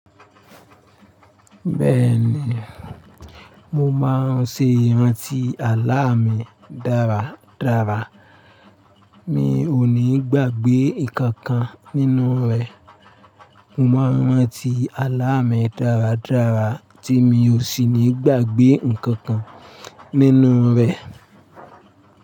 Bẹ́ẹ̀ni, mo máa ń ṣe ìrántí àlá mi dáradára. Mi ò ní gbàgbé nnkan kan nínú rẹ̀. Mo maa n rántí àláa mi dáradára tí mi ò sì ní gbàgbé nnkan kan nínú rẹ̀.